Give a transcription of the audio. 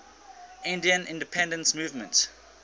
indian independence movement